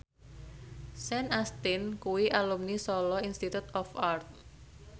Sean Astin kuwi alumni Solo Institute of Art